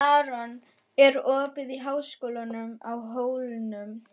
Maron, er opið í Háskólanum á Hólum?